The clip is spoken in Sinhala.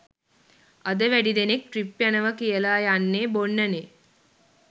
අද වැඩි දෙනෙක් ට්‍රිප් යනව කියල යන්නෙ බොන්නනෙ